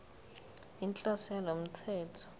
inhloso yalo mthetho